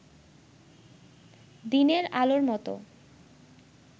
দিনের আলোর মত